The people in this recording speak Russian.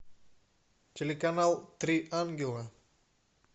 телеканал три ангела